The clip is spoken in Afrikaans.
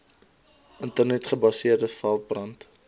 internet gebaseerde veldbrand